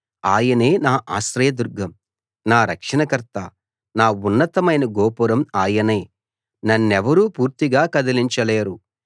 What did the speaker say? ఆయనే నా ఆశ్రయదుర్గం నా రక్షణకర్త నా ఉన్నతమైన గోపురం ఆయనే నన్నెవరూ పూర్తిగా కదలించలేరు